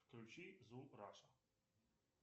включи звук раша